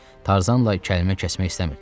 Tarzanla kəlmə kəsmək istəmirdilər.